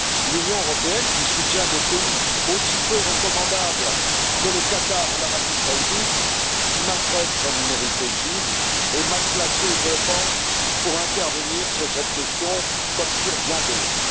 L'Union européenne, qui soutient des pays aussi peu recommandables que le Qatar ou l'Arabie saoudite, qui maltraite sa minorité chiite, est mal placée je le pense pour intervenir sur cette question, comme sur bien d'autres.